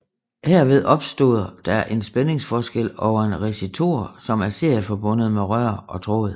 Herved opstår der en spændingsforskel over en resistor som er serieforbundet med rør og tråd